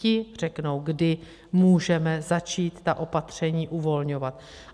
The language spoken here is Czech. Ti řeknou, kdy můžeme začít ta opatření uvolňovat.